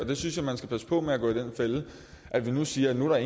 der synes jeg man skal passe på med den fælde at vi siger at nu er